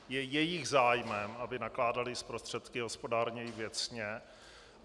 Je jejich zájmem, aby nakládaly s prostředky hospodárněji, věcně.